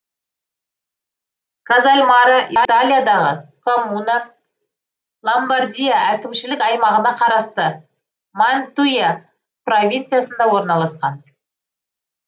казальморо италиядағы коммуна ломбардия әкімшілік аймағына қарасты мантуя провинциясында орналасқан